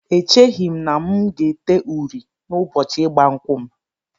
Echeghị m na m ga-ete uri n'ụbọchị ịgba nkwụ m